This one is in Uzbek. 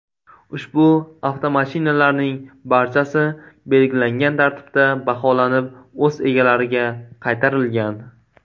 Ushbu avtomashinalarning barchasi belgilangan tartibda baholanib, o‘z egalariga qaytarilgan.